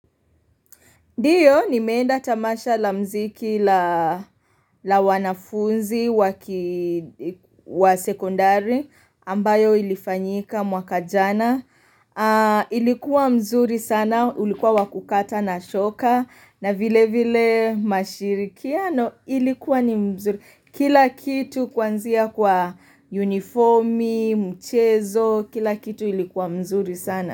Ndiyo nimeenda tamasha la mziki la wanafunzi wa sekondari ambayo ilifanyika mwaka jana. Ilikuwa mzuri sana, ulikuwa wa kukata na shoka na vile vile mashirikiano ilikuwa ni mzuri. Kila kitu kuanzia kwa unifomi, mchezo, kila kitu ilikuwa mzuri sana.